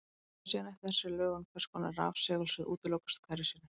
Það fer síðan eftir þessari lögun hvers konar rafsegulsvið útilokast hverju sinni.